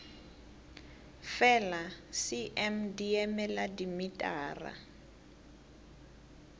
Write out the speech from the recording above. fela cm di emela dimetara